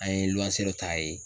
An ye luanse dɔ t'a ye.